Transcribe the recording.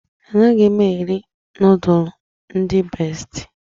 Anaghị m eri nudulu ndị bestị.